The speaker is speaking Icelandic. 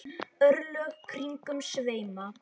örlög kringum sveima